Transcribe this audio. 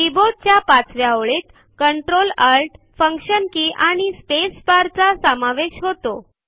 कीबोर्डच्या पाचव्या ओळीत ctrl Alt function के आणि स्पेस बार चा समावेश होतो